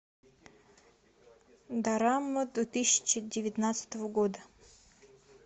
дорама две тысячи девятнадцатого года